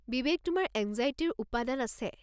বিবেক, তোমাৰ এঙ্জাইটিৰ উপাদান আছে।